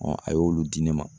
a y'olu di ne ma.